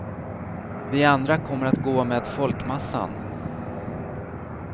Vi andra kommer att gå med folkmassan.